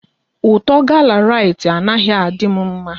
Ụtọ gala Rite anaghị adị m mma